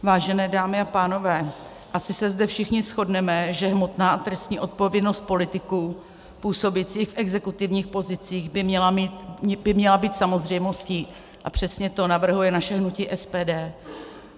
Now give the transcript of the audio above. Vážené dámy a pánové, asi se zde všichni shodneme, že hmotná a trestní odpovědnost politiků působících v exekutivních pozicích by měla být samozřejmostí, a přesně to navrhuje naše hnutí SPD.